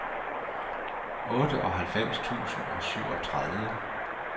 otteoghalvfems tusind og syvogtredive